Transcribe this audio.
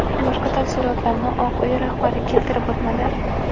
Boshqa tafsilotlarni Oq Uy rahbari keltirib o‘tmadi.